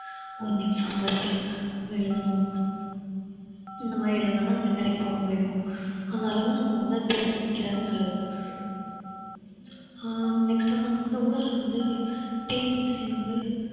ஒண்ணு exam வச்சு எழுதணும் இந்தமாறி எழுதினாத்தான் இந்த வேலைக்கு போக முடியும் அந்த அளவுக்கு நம்ம வந்து தெரிஞ்சு வைக்கிறது நல்லது அஹ் next வந்து நான் வந்து ஊர்ல வந்து TNPSC வந்து